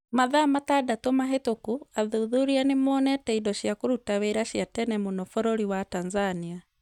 Mathaa matandatũ mahĩtũku athuthuria nĩ monete indo cia kũruta wĩra cia tene mũno bũrũri wa Tanzania.